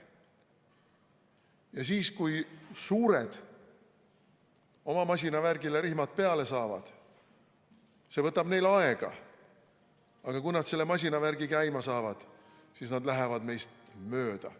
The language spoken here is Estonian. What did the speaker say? Ja siis, kui suured oma masinavärgile rihmad peale saavad – see võtab neil aega, aga kui nad selle masinavärgi käima saavad –, lähevad nad meist mööda.